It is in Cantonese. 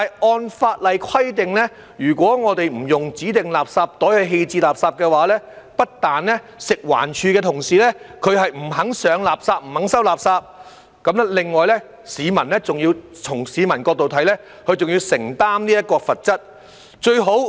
按法例規定，如果不使用指定垃圾袋棄置垃圾，不但食物環境衞生署的同事不肯上垃圾、不肯收垃圾，從市民的角度來看，他們還要承擔罰則。